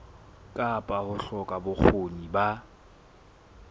kapa ho hloka bokgoni ba